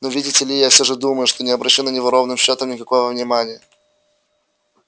но видите ли я всё же думаю что не обращу на него ровным счётом никакого внимания